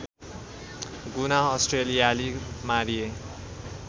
गुना अस्ट्रेलियाली मारिए